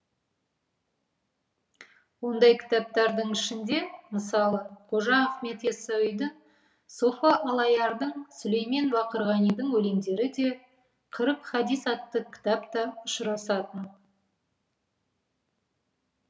ондай кітаптардың ішінде мысалы қожа ахмет яссауидің софы аллаярдың сүлеймен бақырғанидың өлеңдері де қырық хадис атты кітап та ұшырасатын